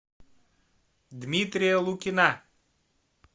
дмитрия лукина